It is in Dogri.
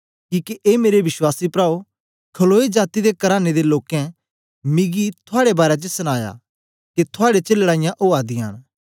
किके ए मेरे विश्वासी प्राओ खलोए जाती दे कराने दे लोकें मिकी थुआड़े बारै च सनाया ऐ के थुआड़े च लड़ाईयां उआ दियां न